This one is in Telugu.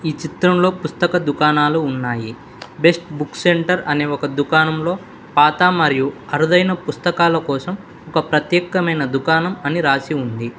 ఈ చిత్రంలో పుస్తక దుకాణాలు ఉన్నాయి బెస్ట్ బుక్స్ సెంటర్ అనే ఒక దుకాణంలో పాతా మరియు అరుదైన పుస్తకాల కోసం ఒక ప్రత్యేకమైన దుకాణం అని రాసి ఉంది.